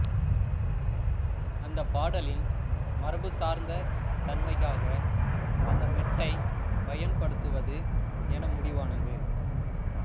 அந்தப் பாடலின் மரபு சார்ந்த தன்மைக்காக அந்த மெட்டைப் பயன்படுத்துவது என முடிவானது